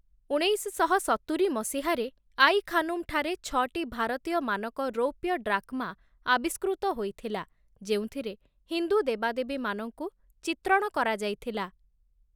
ଉଣେଇଶଶହ ସତୁରୀ ମସିହାରେ ଆଇ-ଖାନୁମ ଠାରେ ଛଅଟି ଭାରତୀୟ ମାନକ ରୌପ୍ୟ ଡ୍‌ରାକ୍‌ମା ଆବିଷ୍କୃତ ହୋଇଥିଲା, ଯେଉଁଥିରେ ହିନ୍ଦୁ ଦେବାଦେବୀମାନଙ୍କୁ ଚିତ୍ରଣ କରାଯାଇଥିଲା ।